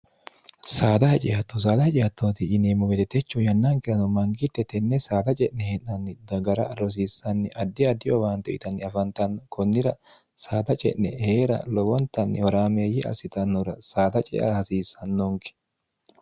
saada hacihatto saala hacihattooti yineemmo wedetechu yannankerano mangitte tenne saada ce'ne hee'naanni dagara rosiissanni addi addiyo awaanto itanni afantanno kunnira saada ce'ne hee'ra lowontanni horaameeyyi assitannora saada cea hasiissannonke